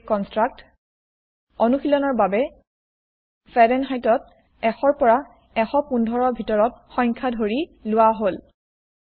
brake কনস্ত্ৰাক্ত অনুশীলন ৰ বাবে ফাৰেনহাইত ত ১০০ পৰা ১১৫ ভিতৰত সংখ্যা ধৰি লোৱা হল